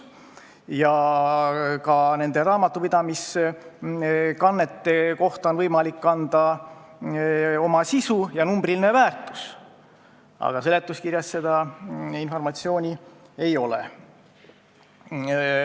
Ja ka raamatupidamiskannetele on võimalik anda sisu ja numbriline väärtus, aga seletuskirjas seda informatsiooni ei ole.